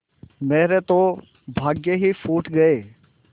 मेरे तो भाग्य ही फूट गये